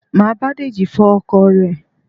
Máa bá Deji fọ ọkọ̀ rẹ̀